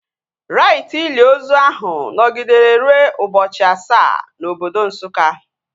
Raiti ili ozu ahu nọgidere rue ụbọchị asaa na obodo Nsukka